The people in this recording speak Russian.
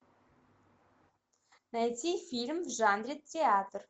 найти фильм в жанре театр